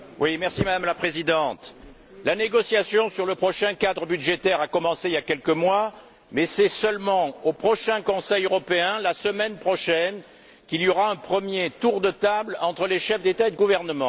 Madame la Présidente, la négociation sur le prochain cadre budgétaire a commencé il y a quelques mois mais c'est seulement au prochain Conseil européen, la semaine prochaine, qu'il y aura un premier tour de table entre les chefs d'État et de gouvernement.